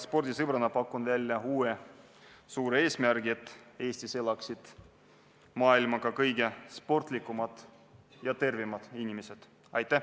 Spordisõbrana pakun välja uue suure eesmärgi: et Eestis elaksid ka maailma kõige sportlikumad ja tervemad inimesed.